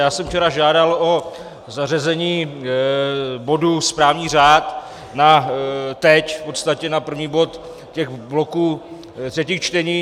Já jsem včera žádal o zařazení bodu správní řád na teď, v podstatě jako první bod těch bloků třetích čtení.